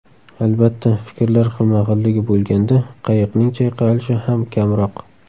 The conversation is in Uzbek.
Albatta, fikrlar xilma-xilligi bo‘lganda, qayiqning chayqalishi ham kamroq.